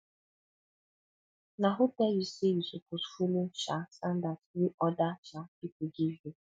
na who tell you sey you suppose folo um standard wey oda um pipo give you